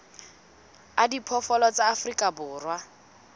a diphoofolo tsa afrika borwa